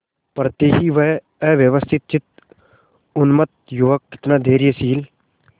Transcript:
पड़ते ही वह अव्यवस्थितचित्त उन्मत्त युवक कितना धैर्यशील